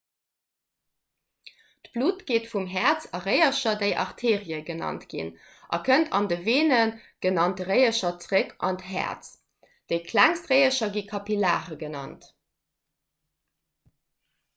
d'blutt geet vum häerz a réiercher déi arterie genannt ginn a kënnt an de veene genannte réiercher zeréck an d'häerz déi klengst réiercher gi kapillare genannt